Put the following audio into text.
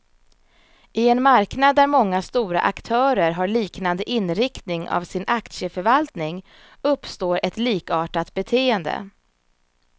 I en marknad där många stora aktörer har liknande inriktning av sin aktieförvaltning, uppstår ett likartat beteende.